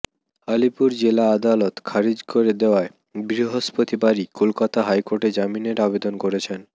আলিপুর জেলা আদালত খারিজ করে দেওয়ায় বৃহস্পতিবারই কলকাতা হাইকোর্টে জামিনের আবেদন করেছেন